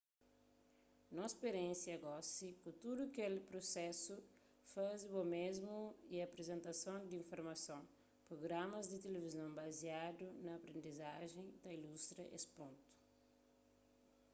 nos spiriénsia gosi ku tudu kel prusesu faze bo mésmu y aprizentason di informason prugramas di tilivizon baziadu na aprendizajen ta ilustra es pontu